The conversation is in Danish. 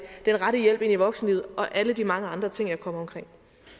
den rette hjælp ind i voksenlivet og alle de mange andre ting jeg kom omkring